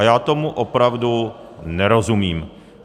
A já tomu opravdu nerozumím.